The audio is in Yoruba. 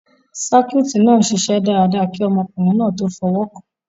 sáíkúùtì náà n ṣiṣẹ́ dáadáa kí ọmọkùnrin náà tó f'ọwọ́kàn